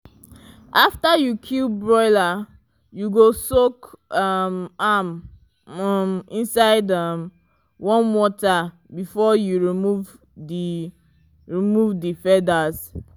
after you kill broiler you go soak um am um inside um warm water before you remove the remove the feathers.